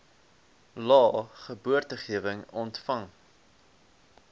lae geboortegewig ontvang